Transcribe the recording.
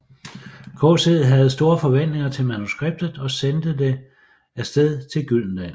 KC havde store forventninger til manuskriptet og sendte det af sted til Gyldendal